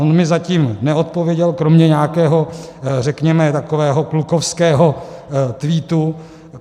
On mi zatím neodpověděl kromě nějakého, řekněme, takového klukovského tweetu.